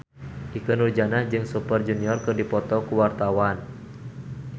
Ikke Nurjanah jeung Super Junior keur dipoto ku wartawan